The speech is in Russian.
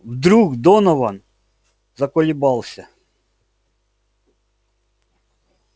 вдруг донован заколебался